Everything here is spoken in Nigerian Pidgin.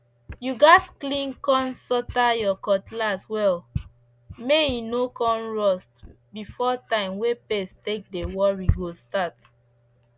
you gats clean con sotre your cutlass well may e no con rust before time wey pest take dey worry go start